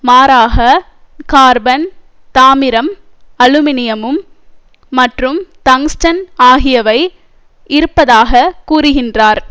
மாறாக கார்பன் தாமிரம் அலுமினியம் மற்றும் டங்ஸ்டன் ஆகியவை இருப்பதாக கூறுகின்றார்